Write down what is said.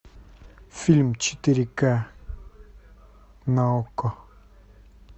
фильм четыре ка на окко